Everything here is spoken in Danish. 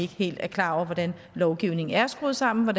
helt er klar over hvordan lovgivningen er skruet sammen og